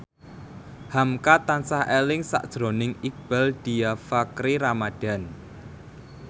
hamka tansah eling sakjroning Iqbaal Dhiafakhri Ramadhan